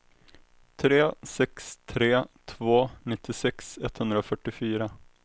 tre sex tre två nittiosex etthundrafyrtiofyra